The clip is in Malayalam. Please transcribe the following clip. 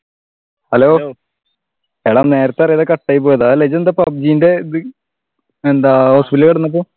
Hello എടാ നേരത്തെ അറിയാതെ കട്ട് ആയി പോയതാ ഇതെന്താ pubg ന്റെ എന്താ ഹോസ്പിറ്റൽ